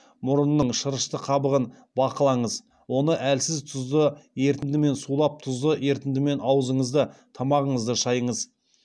мұрынның шырышты қабығын бақылаңыз оны әлсіз тұзды ерітіндімен сулап тұзды ерітіндімен аузыңызды тамағыңызды шайыңыз